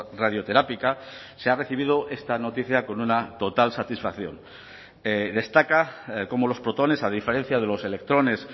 radioterápica se ha recibido esta noticia con una total satisfacción destaca cómo los protones a diferencia de los electrones